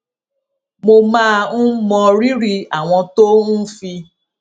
mo máa ń mọrírì àwọn tó ń fi